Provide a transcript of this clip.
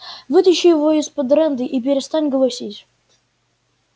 вытащи его из-под рэнды и перестань голосить